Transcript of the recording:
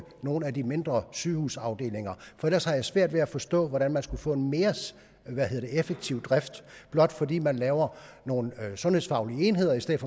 nogle af de mindre sygehusafdelinger for ellers har jeg svært ved at forstå hvordan man skulle få en mere effektiv drift blot fordi man laver nogle sundhedsfaglige enheder i stedet